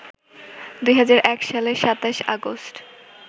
২০০১ সালের ২৭ আগস্ট